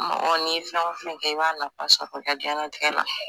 Mɔgɔ ni ye fɛn o fɛn kɛ i b'a nafa sɔrɔ i ka diɲɛlatigɛ la.